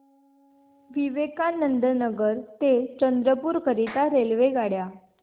विवेकानंद नगर ते चंद्रपूर करीता रेल्वेगाड्या